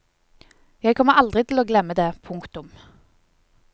Jeg kommer aldri til å glemme det. punktum